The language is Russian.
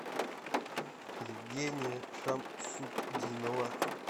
евгения шамсутдинова